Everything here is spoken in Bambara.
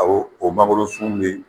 Awo o mangoro sun me